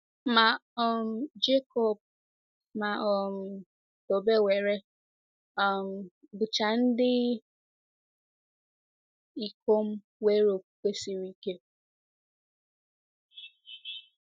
Ma um Jekọb ma um Tobewere um bụcha ndị ikom nwere okwukwe siri ike.